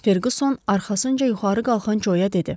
Ferquson arxasınca yuxarı qalxan Coya dedi.